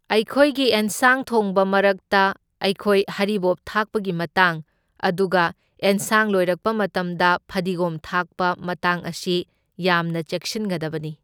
ꯑꯩꯈꯣꯏꯒꯤ ꯑꯦꯟꯁꯥꯡ ꯊꯣꯡꯕ ꯃꯔꯛꯇ ꯑꯩꯈꯣꯏ ꯍꯩꯔꯤꯕꯣꯞ ꯊꯥꯛꯄꯒꯤ ꯃꯇꯥꯡ, ꯑꯗꯨꯒ ꯑꯦꯟꯁꯥꯡ ꯂꯣꯏꯔꯛꯄ ꯃꯇꯝꯗ ꯐꯗꯤꯒꯣꯝ ꯊꯥꯛꯄ ꯃꯇꯥꯡ ꯑꯁꯤ ꯌꯥꯝꯅ ꯆꯦꯛꯁꯤꯟꯒꯗꯕꯅꯤ꯫